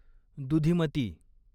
दुधीमती